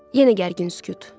Yenə gərgin sükut.